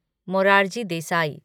Morarji Desai